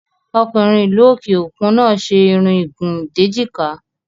Ọkùnrin ìlú òkè òkun náà ṣe Irun ìgùn déjìká